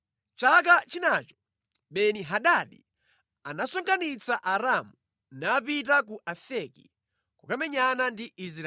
Chaka chinacho Beni-Hadadi anasonkhanitsa Aaramu, napita ku Afeki kukamenyana ndi Israeli.